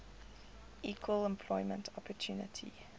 equal employment opportunity